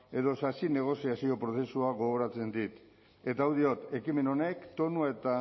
edo sasi negoziazio prozesua gogoratzen dit eta hau diot ekimen honek tonua eta